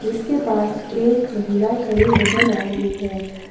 इसके पास एक महिला खड़ी नजर आ रही है।